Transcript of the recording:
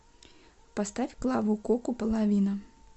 поставь клаву коку половина